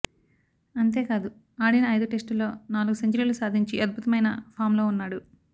అంతేకాదు ఆడిన ఐదు టెస్టుల్లో నాలుగు సెంచరీలు సాధించి అద్భుతమైన ఫామ్లో ఉన్నాడు